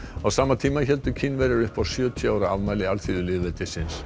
á sama tíma héldu Kínverjar upp á sjötíu ára afmæli alþýðulýðveldisins